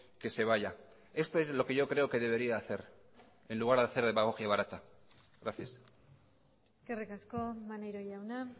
que se vaya esto es lo que yo creo que debería hacer en lugar de hacer demagogia barata gracias eskerrik asko maneiro jauna